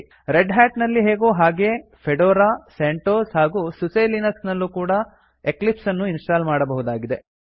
red Hat ನಲ್ಲಿ ಹೇಗೋ ಹಾಗೇ ಫೆಡೋರಾ ಸೆಂಟೋಸ್ ಹಾಗೂ ಸುಸೆ ಲಿನಕ್ಸ್ ನಲ್ಲೂ ಕೂಡಾ ಎಕ್ಲಿಪ್ಸ್ ಅನ್ನು ಇನ್ಸ್ಟಾಲ್ ಮಾಡಬಹುದಾಗಿದೆ